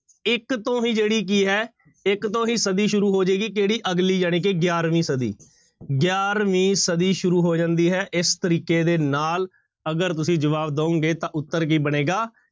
ਇੱਕ ਤੋਂ ਹੀ ਜਿਹੜੀ ਕੀ ਹੈ ਇੱਕ ਤੋਂ ਹੀ ਸਦੀ ਸ਼ੁਰੂ ਹੋ ਜਾਏਗੀ ਕਿਹੜੀ ਅਗਲੀ ਜਾਣੀਕਿ ਗਿਆਰਵੀਂ ਸਦੀ, ਗਿਆਰਵੀਂ ਸਦੀ ਸ਼ੁਰੂ ਹੋ ਜਾਂਦੀ ਹੈ ਇਸ ਤਰੀਕੇ ਦੇ ਨਾਲ ਅਗਰ ਤੁਸੀਂ ਜਵਾਬ ਦਓਗੇ ਤਾਂ ਉੱਤਰ ਕੀ ਬਣੇਗਾ,